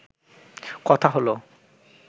কথা হল